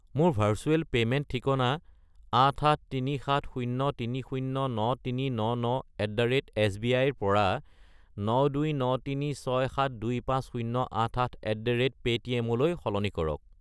মোৰ virtual payment ঠিকনা 88370309399@sbi -ৰ পৰা 92936725088@paytm -লৈ সলনি কৰক।